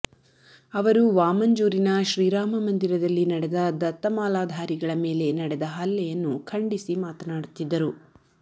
ಅವರು ವಾಮಂಜೂರಿನ ಶ್ರೀರಾಮ ಮಂದಿರದಲ್ಲಿ ನಡೆದ ದತ್ತಮಾಲಾಧಾರಿಗಳ ಮೇಲೆ ನಡೆದ ಹಲ್ಲೆಯನ್ನು ಖಂಡಿಸಿ ಮಾತಾಡುತ್ತಿದ್ದರು